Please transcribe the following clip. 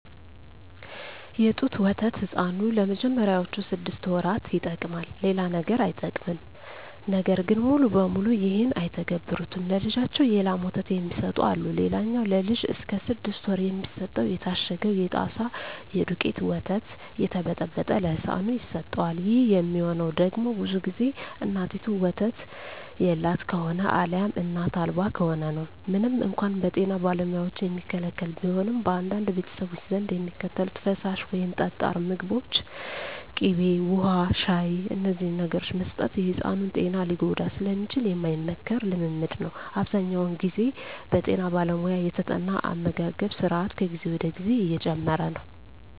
የጡት ወተት ሕፃኑ ለመጀመሪያዎቹ ስድስት ወራት ይጠቀማል። ሌላ ነገር አይጠቀምም። ነገር ግን ሙሉ በሙሉ ይህን አይተገብሩትም። ለልጃቸው የላም ወተት የሚሰጡ አሉ። ሌላኛው ለልጅ እስከ ስድስት ወር የሚሰጠው የታሸገው የጣሳ የደውቄቱ ወተት እየተበጠበጠ ለህፃኑ ይሰጠዋል። ይህ የሚሆነው ደግሞ ብዙ ግዜ እናቲቱ ወተት የላት ከሆነ አልያም እናት አልባ ከሆነ ነው። ምንም እንኳን በጤና ባለሙያዎች የሚከለከል ቢሆንም፣ በአንዳንድ ቤተሰቦች ዘንድ የሚከተሉት ፈሳሽ ወይም ጠጣር ምግቦች ከስድስት ወር በፊት ሊሰጡ ይችላሉ። እነዚህም ቅቤ፣ ውሀ፣ ሻሂ…። እነዚህን ነገሮች መስጠት የሕፃኑን ጤና ሊጎዳ ስለሚችል የማይመከር ልምምድ ነው። አብዛኛውን ግዜ በጠና ባለሙያ የተጠና አመጋገብ ስራት ከጊዜ ወደ ጊዜ እየጨመረ ነው።